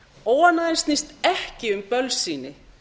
óánægjan snýst ekki um bölsýni